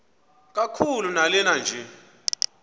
kakhulu lanela nje